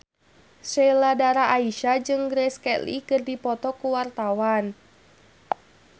Sheila Dara Aisha jeung Grace Kelly keur dipoto ku wartawan